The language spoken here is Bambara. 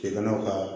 I kana ka